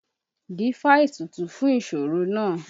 Dífá ètùtù fún ìṣoro náà!